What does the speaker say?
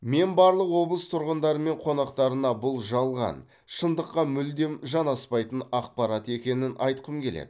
мен барлық облыс тұрғындары мен қонақтарына бұл жалған шындыққа мүлдем жанаспайтын ақпарат екенін айтқым келеді